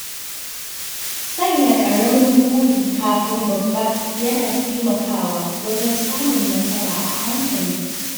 Sanya ƙaramin buri kafin babba yana taimakawa wajen samun nasara a hankali.